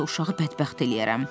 yoxsa uşağı bədbəxt eləyərəm.